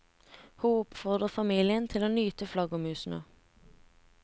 Hun oppfordrer familien til å nyte flaggermusene.